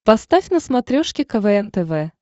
поставь на смотрешке квн тв